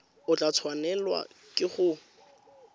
o tla tshwanelwa ke go